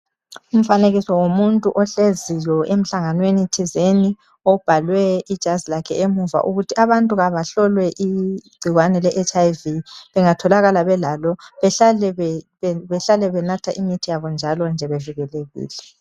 Umfanekiso womuntu ohleziyo emhlanganweni thizeni, obhalwe ijazi lakhe emuva ukuthi abantu kabahlolwe igciwane le HIV, bengatholakala belalo behlale benatha imithi yabo njalonje bevikelekile.